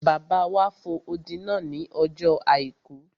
Bàbá wa fo odi náà ní ọjọ́ àìkú